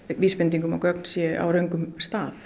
vísbending um að gögn séu á röngum stað